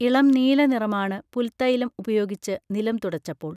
ഇളംനീല നിറമാണ് പുൽത്തൈലം ഉപയോഗിച്ച് നിലം തുടച്ചപ്പോൾ